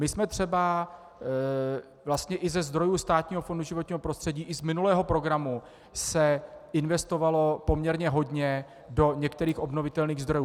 My jsme třeba vlastně - i ze zdrojů Státního fondu životního prostředí i z minulého programu se investovalo poměrně hodně do některých obnovitelných zdrojů.